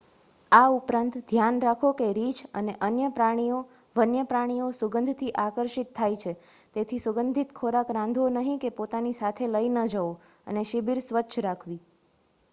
આ ઉપરાંત ધ્યાન રાખો કે રીછ અને અન્ય વન્યપ્રાણીઓ સુગંધથી આકર્ષિત થાય છે તેથી સુગંધિત ખોરાક રાંધવો નહી કે પોતાની સાથે લઈ ન જવો અને શિબિર સ્વચ્છ રાખવી